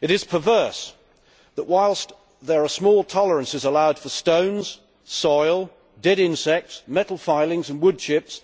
It is perverse that, whilst there are small tolerances allowed for stones, soil, dead insects, metal filings and wood chips,